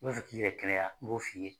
I b'a fɛ k'i yɛrɛ kɛnɛya n b'o f'i ye.